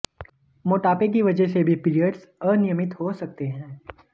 मोटापे की वजह से भी पीरियड्स अनियमित हो सकते हैं